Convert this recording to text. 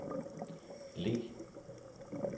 Leh